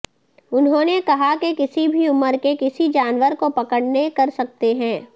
انہوں نے کہا کہ کسی بھی عمر کے کسی جانور کو پکڑنے کر سکتے ہیں